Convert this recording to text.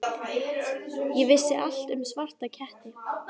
Ég vissi allt um svarta ketti.